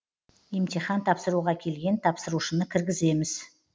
емтихан тапсыруға келген тапсырушыны кіргіземіз